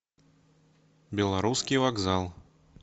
белорусский вокзал